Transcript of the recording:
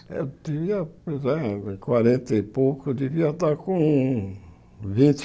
Eu tinha, pois é, quarenta e pouco, eu devia estar com vinte